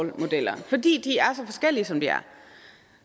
forskellige som de er